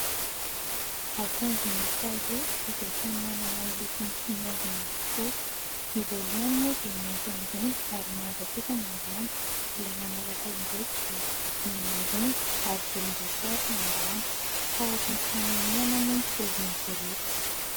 Akanjo miisa roa izay samy manana ny lokony sy ny haingony avokoa : ny voalohany moa dia mainty ambony ary manga kosa ny ambany ; ilay manaraka indray dia mena ambony ary volomboasary ny ambany. Tahaka ny fanamiana moa no paozin'izy ireto.